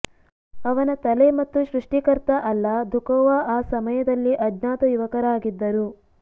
ಅವನ ತಲೆ ಮತ್ತು ಸೃಷ್ಟಿಕರ್ತ ಅಲ್ಲಾ ದುಖೊವಾ ಆ ಸಮಯದಲ್ಲಿ ಅಜ್ಞಾತ ಯುವಕರಾಗಿದ್ದರು